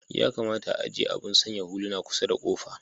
Ya kamata a'ajie abun sanya huluna kusar da kofa.